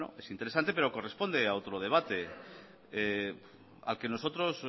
es interesante pero corresponde a otro debate al que nosotros